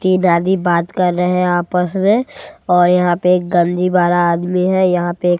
तीन आदमी बात कर रहे हैं आपस में और यहां पे एक गंदी वाला आदमी है यहां पे।